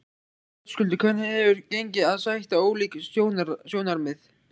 Höskuldur: Hvernig hefur gengið að sætta ólík sjónarmið?